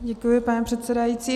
Děkuji, pane předsedající.